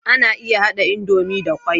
Ana iya hada idomie da kwai